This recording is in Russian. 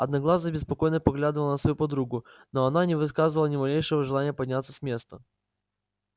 одноглазый беспокойно поглядывал на свою подругу но она не выказывала ни малейшего желания подняться с места